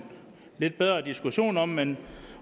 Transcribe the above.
lidt bedre diskussion om men